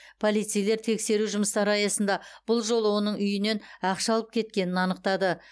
полицейлер тексеру жұмыстары аясында бұл жолы оның үйінен ақша алып кеткенін анықтады